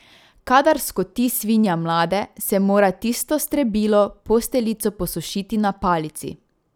Kadar skoti svinja mlade, se mora tisto strebilo, posteljico posušiti na palici.